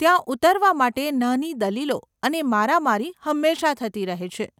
ત્યાં ઉતારવા માટે નાની દલીલો અને મારામારી હંમેશા થતી રહે છે.